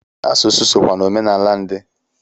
Asụsụ sokwa n'omenala ndị